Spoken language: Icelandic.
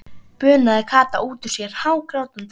bunaði Kata út út sér hágrátandi.